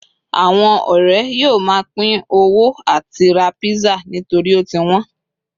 awon ore yíò ma pin owó ati ra pizza nitori o ti wón